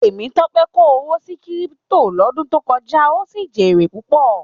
Temitope ko owó sí Kírípútò l'ọdun to kọjá, o sí jere púpọ.